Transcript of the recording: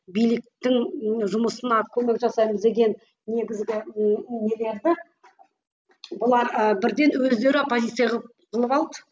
биліктің жұмысына көмек жасаймыз деген негізгі нелерді бұлар ы бірден өздері оппозиция қылып алды